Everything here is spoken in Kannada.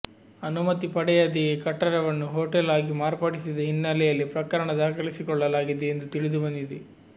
ಅನುಮತಿ ಪಡೆಯದೆಯೇ ಕಟ್ಟಡವನ್ನು ಹೋಟೆಲ್ ಆಗಿ ಮಾರ್ಪಡಿಸಿದ ಹಿನ್ನೆಲೆಯಲ್ಲಿ ಪ್ರಕರಣ ದಾಖಲಿಸಿಕೊಳ್ಳಲಾಗಿದೆ ಎಂದು ತಿಳಿದುಬಂದಿದೆ